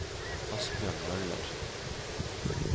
Asbjørn Møller